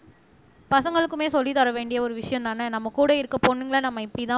பசங்களுக்குமே சொல்லித் தர வேண்டிய ஒரு விஷயம்தானே நம்ம கூட இருக்க பொண்ணுங்களை நம்ம இப்படித்தான்